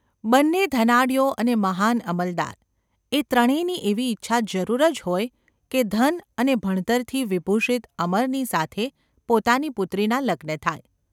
બને ધનાઢ્યો અને મહાન અમલદાર – એ ત્રણેની એવી ઇચ્છા જરૂર જ હોય કે ધન અને ભણતરથી વિભૂષિત અમરની સાથે પોતાની પુત્રીના લગ્ન થાય.